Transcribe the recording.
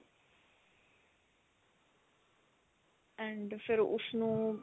and ਫਿਰ ਉਸ ਨੂੰ